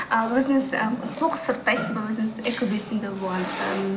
ал өзіңіз ы қоқыс сұрыптайсыз ба өзіңіз экобелсенді болғандықтан